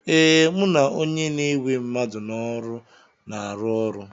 Ee, mụ na onye na-ewe mmadụ n'ọrụ na-arụ ọrụ.